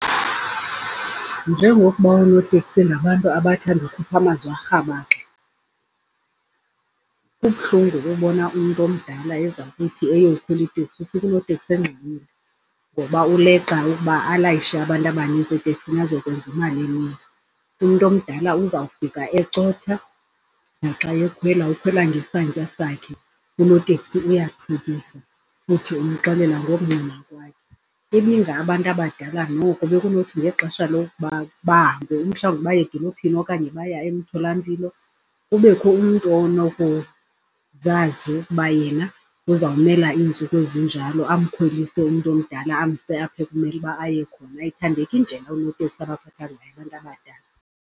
Njengokuba oonoteksi ngabantu abathanda ukukhupha amazwi arhabaxa, kubuhlungu ukubona umntu omdala eza kuthi eyokhwela iteksi ufike unoteksi engxamile ngoba uleqa ukuba alayishe abantu abaninzi eteksini azokwenza imali eninzi. Umntu omdala uzawufika ecotha naxa ekhwela ukhwela ngesantya sakhe, unoteksi uyathukisa futhi umxelela ngokungxama kwakhe. Ibingabantu abadala noko bekunothi ngexesha lokuba bahambe, umhlawumbi baye edolophini okanye baye emtholampilo, kubekho umntu onokuzazi ukuba yena uzawumela iintsuku ezinjalo amkhwelise umntu omdala, amse apho ekumele uba aye khona. Ayithandeki indlela oonoteksi abaphatha ngayo abantu abadala.